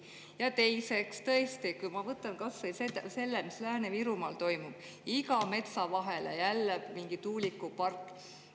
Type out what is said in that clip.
Ja teiseks, tõesti, võtame kas või selle, mis Lääne-Virumaal toimub, iga metsa vahele jälle mingi tuulikupark.